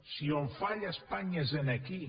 si on falla espanya és aquí